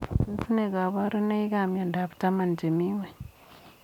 Tos nee kabarunoik ap miondop taman chemii ngweny?